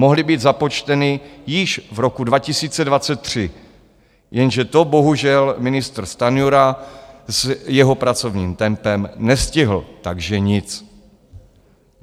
Mohly být započteny již v roku 2023, jenže to bohužel ministr Stanjura s jeho pracovním tempem nestihl, takže nic.